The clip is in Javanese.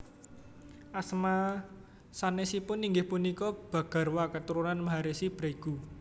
Asma sanésipun inggih punika Bhagarwa Keturunan Maharesi Bregu